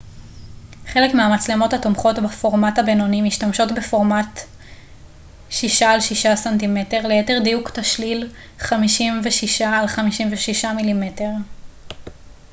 חלק מהמצלמות התומכות בפורמט הבינוני משתמשות בפורמט 6 על 6 ס מ ליתר דיוק תשליל 56 על 56 מ מ